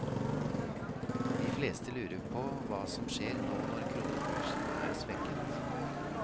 De fleste lurer på hva som skjer nå når kronekursen er svekket.